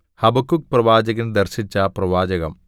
ഹബക്കൂക്ക്പ്രവാചകൻ ദർശിച്ച പ്രവാചകം